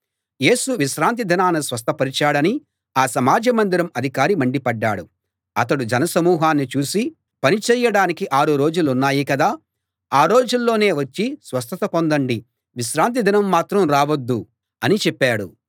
యేసు విశ్రాంతి దినాన స్వస్థపరచాడని ఆ సమాజ మందిరం అధికారి మండిపడ్డాడు అతడు జనసమూహాన్ని చూసి పని చేయడానికి ఆరు రోజులున్నాయి కదా ఆ రోజుల్లోనే వచ్చి స్వస్థత పొందండి విశ్రాంతి దినం మాత్రం రావద్దు అని చెప్పాడు